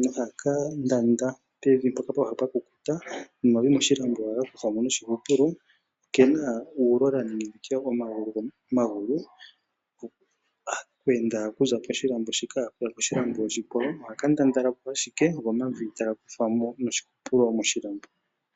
noha ka ndanda pevi mpoka pwakukuta nomavi moshilambo ohaga kuthwamo noshihupulo . Okena uulola nenge omagulu ngono goku enda okuza poshilambo okuya koshilambo oshikwawo. Ohaka ndandalapo ashike go omavi taga kuthwamo noshihupulo moshilambo.